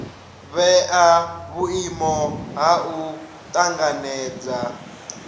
vhea vhuimo ha u tanganedza